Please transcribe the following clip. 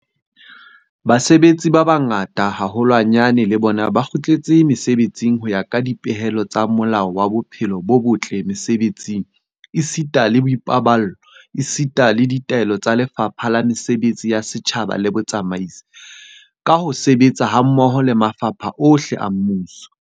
Basebetsi ba bang ba bangata haholwanyane le bona ba kgutletse mesebetsing ho ya ka dipehelo tsa Molao wa Bophelo bo botle Mesebetsing esita le Boipaballo esita le ditaelo tsa Lefapha la Mesebetsi ya Setjhaba le Botsamaisi, ka ho sebetsa hammoho le mafapha ohle a mmuso.